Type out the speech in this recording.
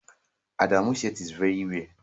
Adamu's shirit is very rare